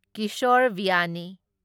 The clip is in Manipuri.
ꯀꯤꯁꯣꯔ ꯕꯤꯌꯥꯅꯤ